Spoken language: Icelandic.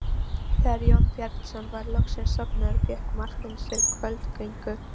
Þegar Jón Bjarnason var loksins sofnaður fékk Marteinn sér kvöldgöngu.